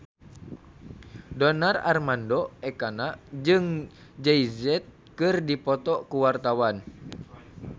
Donar Armando Ekana jeung Jay Z keur dipoto ku wartawan